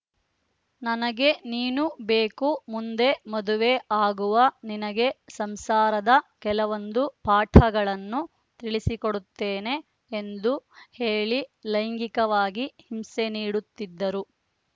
ನನಗೆ ನೀನು ಬೇಕು ಮುಂದೆ ಮದುವೆ ಆಗುವ ನಿನಗೆ ಸಂಸಾರದ ಕೆಲವೊಂದು ಪಾಠಗಳನ್ನು ತಿಳಿಸಿಕೊಡುತ್ತೇನೆ ಎಂದು ಹೇಳಿ ಲೈಂಗಿಕವಾಗಿ ಹಿಂಸೆ ನೀಡುತ್ತಿದ್ದರು